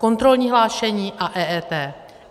Kontrolní hlášení a EET.